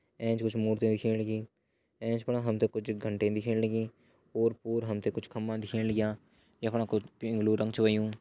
एंच कुछ मूर्ति दिखेण लगीं एचं फण हमते कुछ घंटीन दिखेण लगीं। ओर पोर हमते कुछ खम्बा दिखेण लग्यां। य फणा कुछ पिंग्लू रंग छ होयुं।